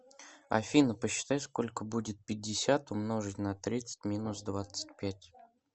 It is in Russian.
афина посчитай сколько будет пятьдесят умножить на тридцать минус двадцать пять